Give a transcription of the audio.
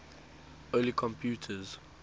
early computers